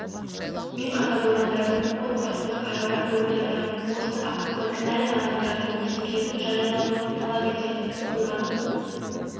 мен қаза болғандардың отбасына қайғыра көңіл айтамын осы апатқа кінәлі адамдардың есімдерінің жариялануын талап етемін оқиғаның